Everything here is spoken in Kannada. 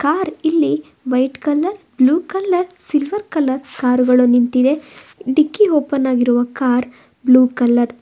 ಆರ್ ಇಲ್ಲಿ white colour blue colour silver colour ಕಾರುಗಳು ನಿಂತಿದೆ ಡಿಕ್ಕಿ ಓಪನ್ ಆಗಿರುವ ಕಾರ್ ಬ್ಲೂ ಕಲರ್ .